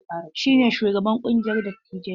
Shi ne shugaban ƙungiyar dattijai.